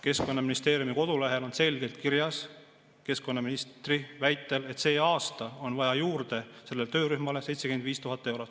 Keskkonnaministeeriumi kodulehel on selgelt kirjas keskkonnaministri väide, et see aasta on vaja sellele töörühmale juurde 75 000 eurot.